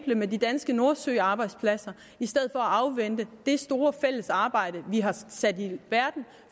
med de danske nordsøarbejdspladser i stedet at afvente det store fælles arbejde vi har sat i verden